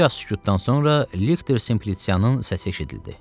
Bir az sükutdan sonra Lektər Simpliçianın səsi eşidildi.